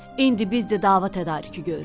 İndi biz də dava tədarükü görürük.